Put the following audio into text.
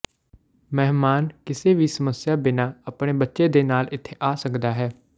ਮਹਿਮਾਨ ਕਿਸੇ ਵੀ ਸਮੱਸਿਆ ਬਿਨਾ ਆਪਣੇ ਬੱਚੇ ਦੇ ਨਾਲ ਇੱਥੇ ਆ ਸਕਦਾ ਹੈ